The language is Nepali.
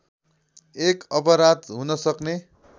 एक अपराध हुनसक्ने